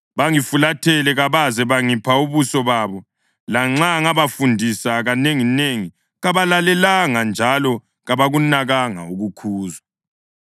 Bangifulathela kabaze bangipha ubuso babo; lanxa ngabafundisa kanenginengi kabalalelanga njalo kabakunakanga ukukhuzwa.